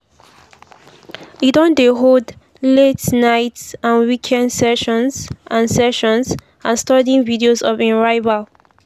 e don dey hold late-night and weekend sessions and sessions and studying videos of im rival.